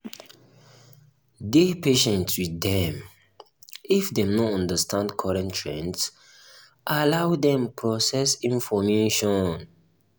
dey patient with dem if dem no understand current trends allow dem process information